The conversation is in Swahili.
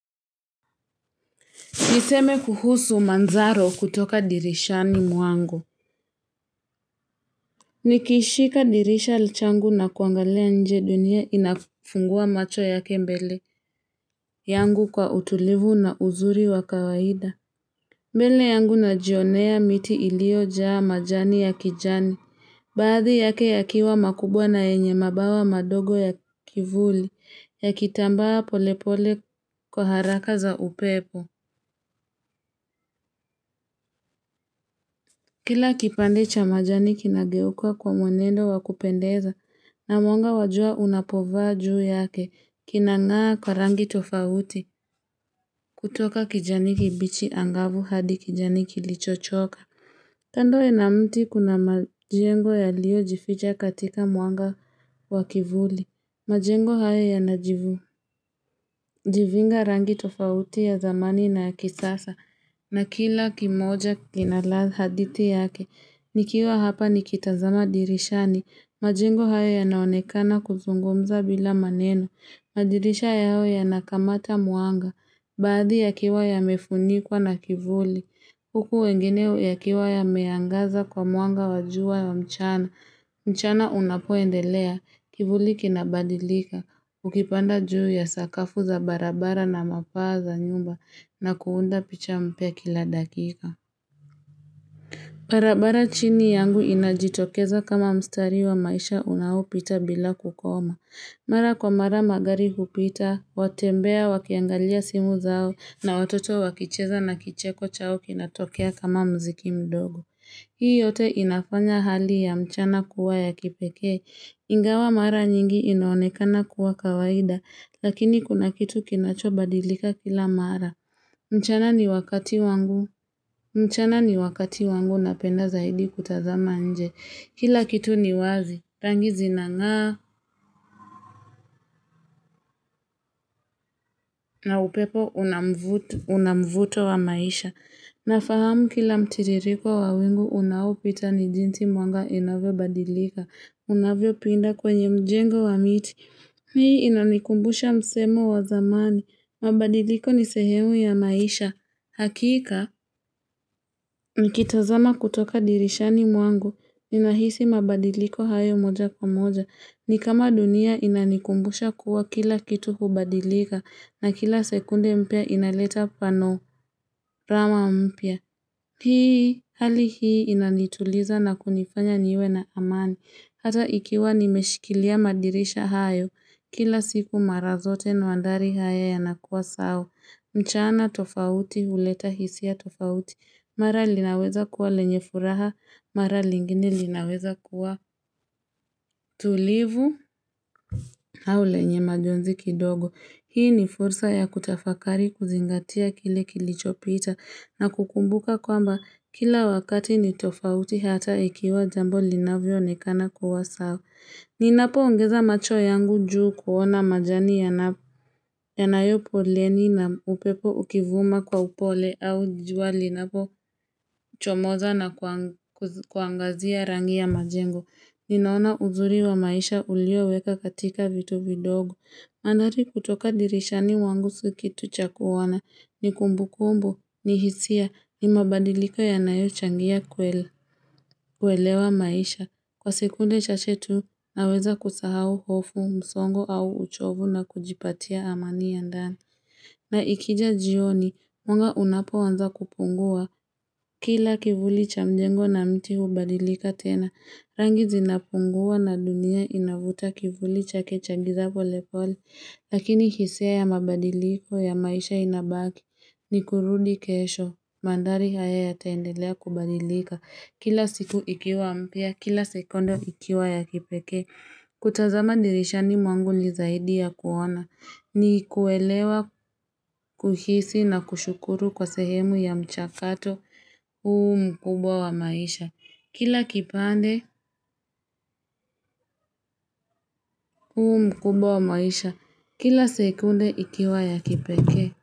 Niseme kuhusu manzaro kutoka dirishani mwangu. Nikishika dirisha lichangu na kuangalia nje dunia inafungua macho yake mbele yangu kwa utulivu na uzuri wa kawaida. Mbele yangu najionea miti iliyo jaa majani ya kijani. Baadhi yake yakiwa makubwa na yenye mabawa madogo ya kivuli ya kitambawa polepole kwa haraka za upepo. Kila kipande cha majani kinageukwa kwa mwenendo wakupendeza na mwanga wajua unapovaa juu yake kinangaa kwa rangi tofauti kutoka kijani kibichi angavu hadi kijani kilichochoka. Kando na mti kuna majengo yaliyo jificha katika mwanga wakivuli. Majengo haya ya najivu. Jivinga rangi tofauti ya zamani na ya kisasa. Na kila kimoja kinaladha hadithi yake. Nikiwa hapa nikitazama dirishani. Majengo haya ya naonekana kuzungumza bila maneno. Madirisha yao yanakamata mwanga. Baadhi ya kiwa ya mefunikwa na kivuli, huku wengine ya kiwa ya meangaza kwa muanga wa jua ya mchana, mchana unapo endelea, kivuli kinabadilika, ukipanda juu ya sakafu za barabara na mapaa za nyumba na kuunda picha mpya kila dakika. Barabara chini yangu inajitokeza kama mstari wa maisha unaopita bila kukoma. Mara kwa mara magari hupita, watembea wakiangalia simu zao na watoto wakicheza na kicheko chao kinatokea kama miziki mdogo. Hii yote inafanya hali ya mchana kuwa ya kipeke. Ingawa mara nyingi inaonekana kuwa kawaida lakini kuna kitu kinacho badilika kila mara. Mchana ni wakati wangu napenda zaidi kutazama nje. Kila kitu ni wazi, rangi zinangaa na upepo unamvuto wa maisha. Nafahamu kila mtiririko wa wingu unaopita ni jinsi mwanga inavyo badilika. Unavyo pinda kwenye mjengo wa miti. Hii inanikumbusha msemo wa zamani. Mabadiliko ni sehemu ya maisha. Hakika, nikitazama kutoka dirishani mwangu, ninahisi mabadiliko hayo moja kwa moja. Nikama dunia inanikumbusha kuwa kila kitu hubadilika na kila sekunde mpya inaleta pano rama mpia. Hii, hali hii inanituliza na kunifanya niwe na amani. Hata ikiwa nimeshikilia madirisha hayo, kila siku mara zote mandhari haya ya nakuwa sawa. Mchana tofauti huleta hisia tofauti, mara linaweza kuwa lenye furaha, mara lingine linaweza kuwa tulivu au lenye majonzi kidogo. Hii ni fursa ya kutafakari kuzingatia kile kilichopita na kukumbuka kwamba kila wakati ni tofauti hata ikiwa jambo linavyo onekana kuwa sawa. Ni napo ongeza macho yangu juu kuona majani yanayopoleni na upepo ukivuma kwa upole au jua linapo chomoza na kuangazia rangi ya majengo. Ni naona uzuri wa maisha ulioweka katika vitu vidogo. Andhari kutoka dirishani mwangu sio kitu cha koana. Ni kumbu kumbu, ni hisia, ni mabadiliko yanayo changia kuelewa maisha. Kwa sekunde chache tu naweza kusahau hofu, msongo au uchovu na kujipatia amani ya ndani. Na ikija jioni, mwanga unapo anza kupungua. Kila kivuli cha mjengo na miti hubadilika tena. Rangi zinapungua na dunia inavuta kivuli chake cha giza pole pole. Lakini hisia ya mabadiliko ya maisha inabaki ni kurudi kesho. Mandhari haya ya taendelea kubadilika. Kila siku ikiwa mpya, kila sekunde ikiwa ya kipeke kutazama dirisha ni mwangu ni zaidi ya kuona ni kuelewa, kuhisi na kushukuru kwa sehemu ya mchakato uu mkubwa wa maisha Kila kipande uu mkubwa wa maisha, kila sekunde ikiwa ya kipeke.